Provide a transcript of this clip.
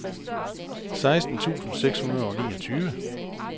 seksten tusind seks hundrede og niogtyve